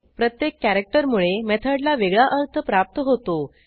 प्रत्येक कॅरॅक्टर मुळे मेथडला वेगळा अर्थ प्राप्त होतो